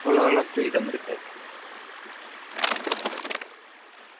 அவலோவாலாம் freedom இருக்காது